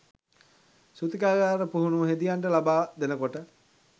සූතිකාගාර පුහුණුව හෙදියන්ට ලබා දෙනකොට.